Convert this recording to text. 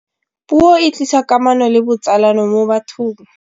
puo e tlisa kamano le botsalano mo bathong